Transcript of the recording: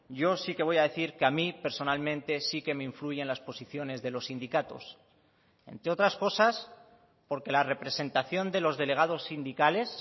yo sí que voy a decir que a mí personalmente sí que me influyen las posiciones de los sindicatos entre otras cosas porque la representación de los delegados sindicales